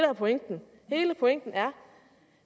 er pointen hele pointen er at